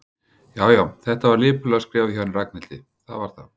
Já, já, þetta var lipurlega skrifað hjá henni Ragnhildi, það var það.